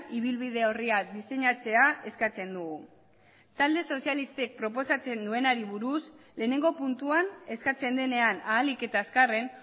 ibilbide orria diseinatzea eskatzen dugu talde sozialistek proposatzen duenari buruz lehenengo puntuan eskatzen denean ahalik eta azkarren